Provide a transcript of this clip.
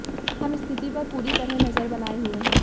हम स्थिति पर पूरी तरह नजर बनाए हुए हैं